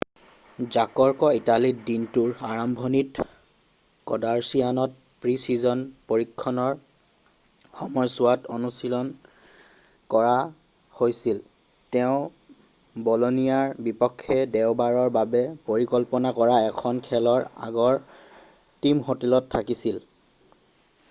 জাৰ্কক ইটালীত দিনটোৰ আৰম্ভণিত ক'ভাৰচিয়ান'ত প্ৰি-ছিজন প্ৰশিক্ষণৰ সময়ছোৱাত অনুশীলন কৰা হৈছিল৷ তেওঁ ব'লনিয়াৰ বিপক্ষে দেওবাৰৰ বাবে পৰিকল্পনা কৰা এখন খেলৰ আগৰ টিম হোটেলত থাকিছিল৷